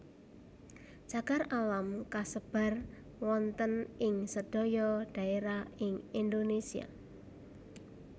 Cagar alam kasebar wonten ing sedaya dhaerah ing Indonesia